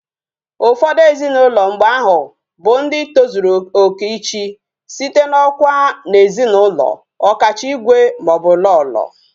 Ufodu ezinaulo mgbe ahu bu ndi tozuru oke ichi, site na okwa na ezi na ulo, okacha igwe ma o bu Lolo